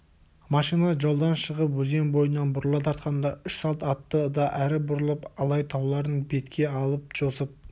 машина жолдан шығып өзен бойынан бұрыла тартқанда үш салт атты да әрі бұрылып алай тауларын бетке алып жосып